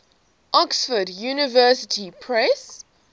oxford university press